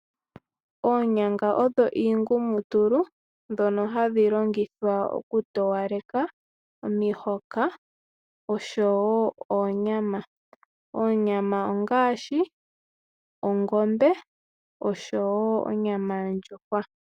Oonyanga odho iingumutulu ndhono hadhi longithwa okutowaleka omihoka oshowoo oonyama. Oonyama ongaashi yongombe oshowoo yondjuhwa.